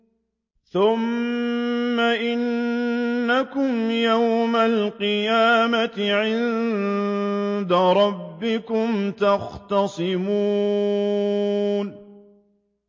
ثُمَّ إِنَّكُمْ يَوْمَ الْقِيَامَةِ عِندَ رَبِّكُمْ تَخْتَصِمُونَ